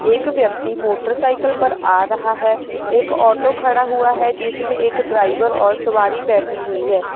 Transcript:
एक व्यक्ति मोटरसाइकल पर आ रहा है एक ऑटो खड़ा हुआ है जिसमें एक ड्राइवर और सावरी बैठी हुई है।